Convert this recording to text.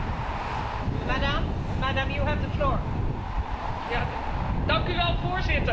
Voorzitter, miljoenen dieren worden dagelijks door heel Europa gesleept.